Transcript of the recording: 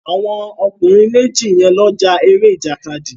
Àwọn ọkùnrin méjì yẹn ló ja eré ìjàkadì